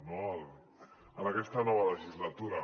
no en aquesta nova legislatura